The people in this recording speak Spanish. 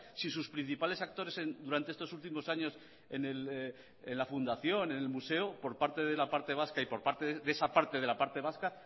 si sus principales actores durante estos últimos años en la fundación en el museo por parte de la parte vasca y por parte de esa parte de la parte vasca